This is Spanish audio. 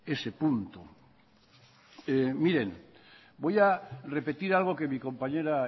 ese punto miren voy a repetir algo que mi compañera